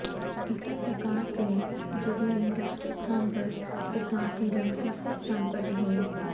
इसी प्रकार से जरीन दूसरे स्थान पर तथा हीरम तीसरे स्थान पर रहीं